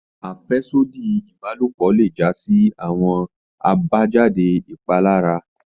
Afẹsodi ibalopo le ja si awọn abajade ipalara.